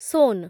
soan